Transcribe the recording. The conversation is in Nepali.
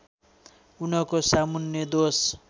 उनको सामुन्ने दोष